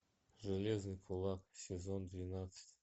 железный кулак сезон двенадцать